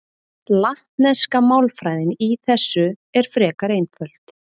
Latneska málfræðin í þessu er frekar einföld.